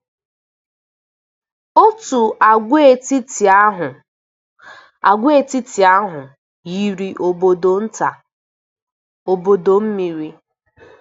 Òtù agwaetiti ahụ agwaetiti ahụ yiri obodo nta, obodo mmiri.